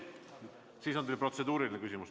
Siis on teil protseduuriline küsimus.